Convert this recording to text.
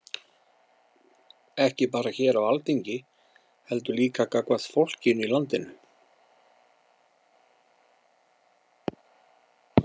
Ekki bara hér á Alþingi heldur líka gagnvart fólkinu í landinu?